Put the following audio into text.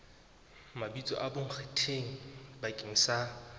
mabitso a bonkgetheng bakeng sa